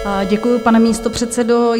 Děkuji, pane místopředsedo.